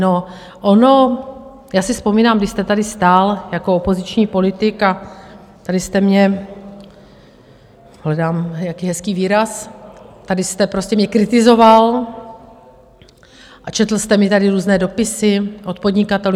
No, ono - já si vzpomínám, vy jste tady stál jako opoziční politik a tady jste mě, hledám nějaký hezký výraz, tady jste prostě mě kritizoval a četl jste mi tady různé dopisy od podnikatelů.